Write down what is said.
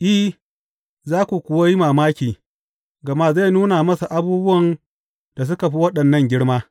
I, za ku kuwa yi mamaki, gama zai nuna masa abubuwan da suka fi waɗannan girma.